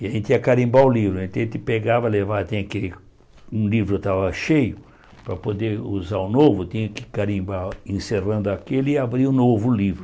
E a gente ia carimbar o livro, a gente pegava, levava, tinha aquele um livro que estava cheio, para poder usar o novo, tinha que carimbar encerrando aquele e abrir o novo livro.